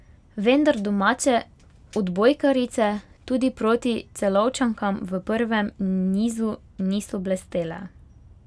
Vendar domače odbojkarice tudi proti Celovčankam v prvem nizu niso blestele.